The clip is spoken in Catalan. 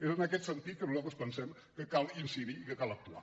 és en aquest sentit que nosaltres pensem que cal incidir i que cal actuar